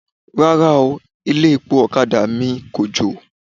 Rárá o, ilé-epo ọ̀kadà mi kòjò.